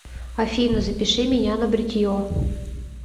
афина запиши меня на бритье